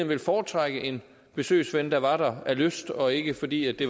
vil foretrække en besøgsven der er der af lyst og ikke fordi det